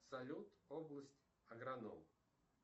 салют область агроном